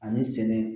Ani sɛnɛ